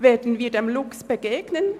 Werden wir dem Luchs begegnen?